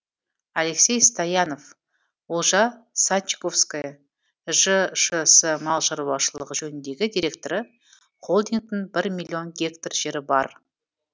алексей стоянов олжа садчиковское жшс мал шаруашылығы жөніндегі директоры холдингтің бір миллион гектар жері бар